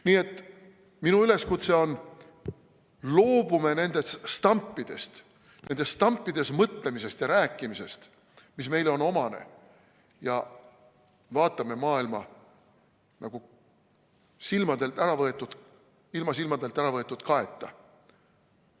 Nii et minu üleskutse on: loobume nendest stampidest, nendes stampides mõtlemisest ja rääkimisest, mis meile on omased, ja vaatame maailma ilma silmadelt äravõetud kaeta.